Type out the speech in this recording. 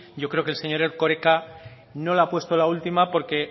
yo creo que el señor erkoreka no le ha puesto la última porque